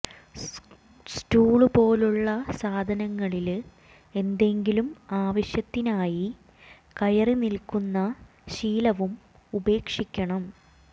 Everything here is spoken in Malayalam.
സ്റ്റൂള് പോലുള്ള സാധനങ്ങളില് എന്തെങ്കിലും ആവശ്യത്തിനായി കയറി നില്ക്കുന്ന ശീലവും ഉപേക്ഷിക്കണം